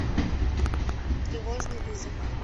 тревожный вызов